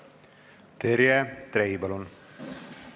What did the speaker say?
Terje Trei, palun!